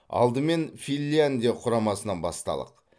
алдымен финляндия құрамасынан басталық